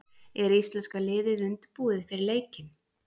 Er íslenska liðið undirbúið fyrir leikinn?